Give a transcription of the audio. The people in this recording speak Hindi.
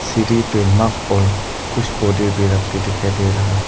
सीढ़ी पे कुछ पौधे भी दिखाई दे रहे हैं।